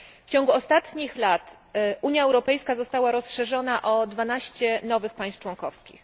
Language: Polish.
W ciągu ostatnich lat Unia Europejska została rozszerzona o 12 nowych państw członkowskich.